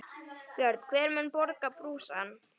Björn: Hver mun borga brúsann?